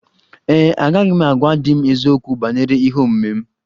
Ee e, agaghị m agwa di m eziokwu banyere ihe omume m